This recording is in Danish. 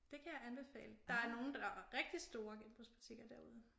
Det kan jeg anbefale der er nogle der er rigtig store genbrugsbutikker derude